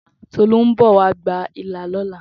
Tolú ńbọ̀ wa gba ilá lọ́la.